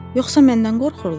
Yoxsa məndən qorxurlar?